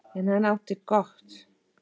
En hann átti gott.